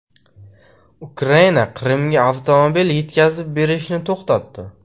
Ukraina Qrimga avtomobil yetkazib berishni to‘xtatdi.